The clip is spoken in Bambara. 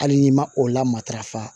Hali n'i ma o la matarafa